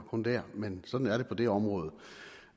kun dér men sådan er det på det område